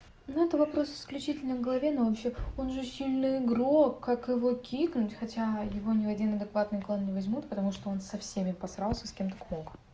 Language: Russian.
ну это вопрос исключительно главе но вообще он же сильный игрок как его кикнуть хотя его ни один адекватный клан не возьмут потому что он со всеми посрался с кем только мог